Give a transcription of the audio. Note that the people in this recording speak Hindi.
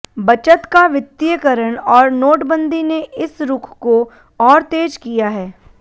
बचत का वित्तीयकरण और नोटबंदी ने इस रुख को और तेज किया है